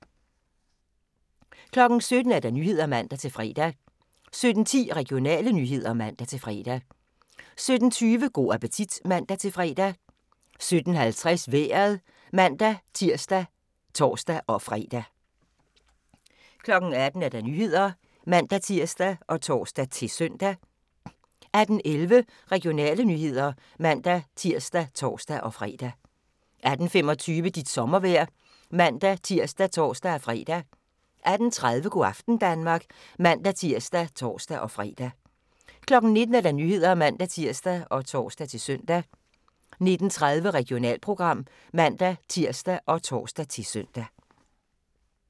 17:00: Nyhederne (man-fre) 17:10: Regionale nyheder (man-fre) 17:20: Go' appetit (man-fre) 17:50: Vejret (man-tir og tor-fre) 18:00: Nyhederne (man-tir og tor-søn) 18:11: Regionale nyheder (man-tir og tor-fre) 18:25: Dit sommervejr (man-tir og tor-fre) 18:30: Go' aften Danmark (man-tir og tor-fre) 19:00: Nyhederne (man-tir og tor-søn) 19:30: Regionalprogram (man-tir og tor-søn)